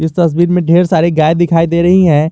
इस तस्वीर में ढेर सारी गाय दिखाई दे रही है।